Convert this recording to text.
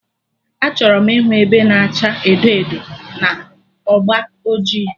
Achọrọ m ịhụ ebe na acha edo edo na agba ọjị